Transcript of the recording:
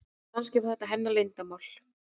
Kannski var þetta hennar leyndarmál.